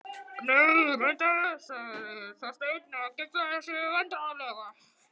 Nei, reyndar ekki sagði Þorsteinn og geiflaði sig vandræðalega.